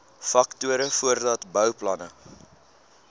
faktore voordat bouplanne